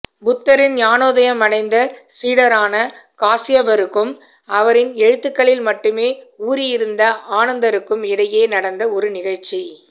புத்தரின் ஞானோதயமடைந்த சீடரான காஸ்யபருக்கும் அவரின் எழுத்துக்களில் மட்டுமே ஊறியிருந்த ஆனந்தருக்கும் இடையே நடந்த ஒரு நிகழ்ச்சி